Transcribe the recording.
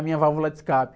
A minha válvula de escape.